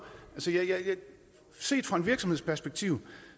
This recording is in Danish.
set fra en virksomheds perspektiv